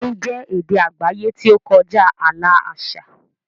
Orin jẹ́ èdè àgbáyé tí ó kọjá ààlà àṣà.